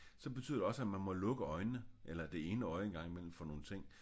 Så betyder det også at man må lukke øjnene eller det ene øje en gang imellem for nogle ting